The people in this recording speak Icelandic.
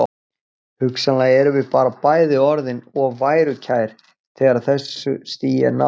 Hugsanlega erum við bara bæði orðin of værukær þegar þessu stigi er náð.